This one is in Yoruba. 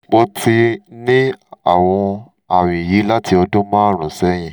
mo ti ń ní àwọn àmì yìí láti ọdún márùn-ún sẹ́yìn